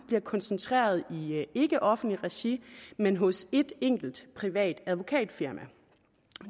bliver koncentreret i offentligt regi men hos et enkelt privat advokatfirma